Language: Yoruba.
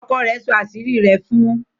ọkọ rẹ nsọ àṣírí rẹ̀ fún.